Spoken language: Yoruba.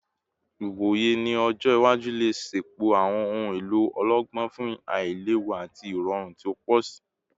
Iwoye ni ọjọ iwaju le ṣepọ awọn ohun elo ọlọgbọn fun ailewu ati irọrun ti o pọ si